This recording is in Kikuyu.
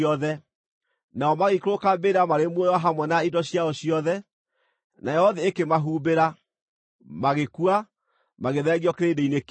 Nao magĩikũrũka mbĩrĩra marĩ muoyo hamwe na indo ciao ciothe; nayo thĩ ĩkĩmahumbĩra, magĩkua, magĩthengio kĩrĩndĩ-inĩ kĩu.